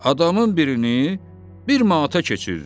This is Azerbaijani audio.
Adamın birini bir manata keçiririk.